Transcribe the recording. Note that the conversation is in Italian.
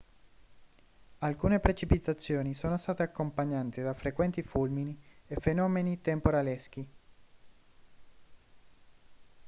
alcune precipitazioni sono state accompagnate da frequenti fulmini e fenomeni temporaleschi